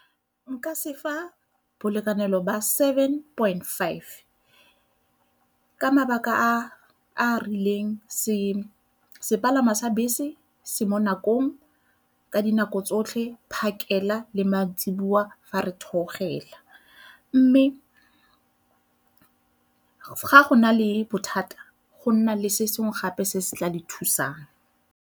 Nka se fa bolekanelo ba seven point five ka mabaka a a rileng sepalangwa sa bese se mo nakong ka dinako tsotlhe phakela le maitsiboa fa re theogela mme ga go na le bothata go nna le se sengwe gape se se tla le thusang.